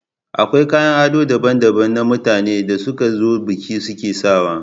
Akwai kayan ado daban-daban na mutanen da suka zo bikin suke sawa.